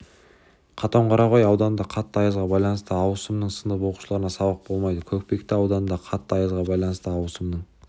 қатонқарағай ауданында қатты аязға байланысты ауысымның сынып оқушыларына сабақ болмайды көкпекті ауданында қатты аязға байланысты ауысымның